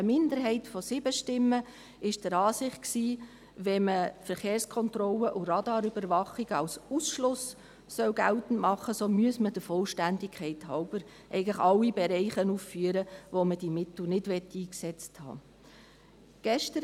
Eine Minderheit von 7 Stimmen war der Ansicht, wenn man Verkehrskontrollen und Radarüberwachung als Ausschlussgrund geltend machen wolle, müsse man der Vollständigkeit halber eigentlich alle Bereiche aufführen, in denen man diese Mittel nicht eingesetzt haben will.